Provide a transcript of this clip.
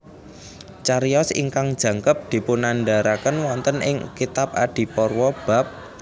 Cariyos ingkang jangkep dipunandharaken wonten ing kitab Adiparwa bab